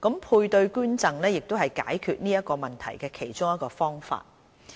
配對捐贈是解決這個問題的其中一個方法。